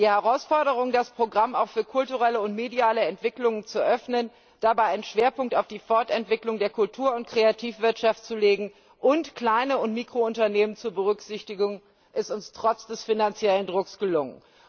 Die Herausforderung, das Programm auch für kulturelle und mediale Entwicklungen zu öffnen, dabei einen Schwerpunkt auf die Fortentwicklung der Kultur und Kreativwirtschaft zu legen und kleine und Mikrounternehmen zu berücksichtigen, ist uns trotz des finanziellen Drucks gelungen.